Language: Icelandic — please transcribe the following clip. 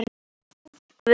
Þín, Guðrún.